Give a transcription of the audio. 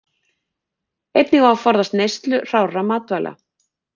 Einnig á að forðast neyslu hrárra matvæla.